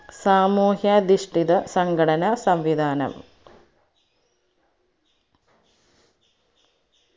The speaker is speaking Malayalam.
സാമൂഹ്യാധിഷ്ഠിത സംഘടന സംവിദാനം